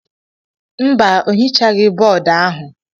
Mba, o hichaghị bọọdụ ahụ.